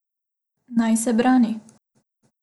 Naj se brani?